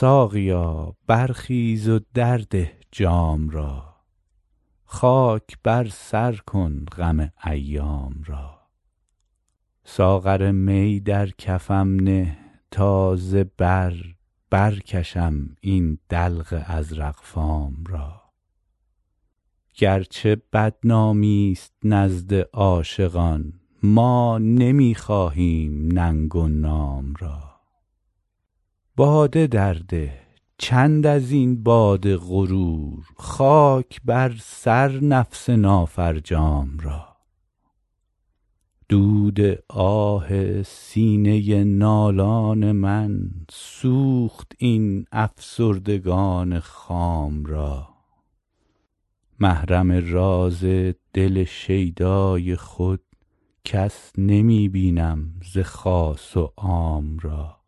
ساقیا برخیز و درده جام را خاک بر سر کن غم ایام را ساغر می بر کفم نه تا ز بر برکشم این دلق ازرق فام را گرچه بدنامی ست نزد عاقلان ما نمی خواهیم ننگ و نام را باده درده چند از این باد غرور خاک بر سر نفس نافرجام را دود آه سینه نالان من سوخت این افسردگان خام را محرم راز دل شیدای خود کس نمی بینم ز خاص و عام را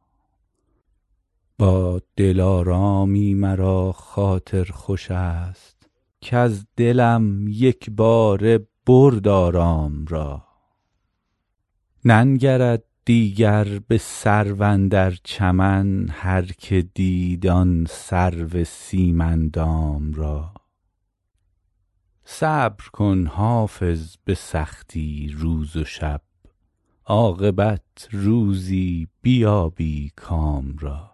با دلارامی مرا خاطر خوش است کز دلم یک باره برد آرام را ننگرد دیگر به سرو اندر چمن هرکه دید آن سرو سیم اندام را صبر کن حافظ به سختی روز و شب عاقبت روزی بیابی کام را